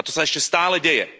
A to sa ešte stále deje.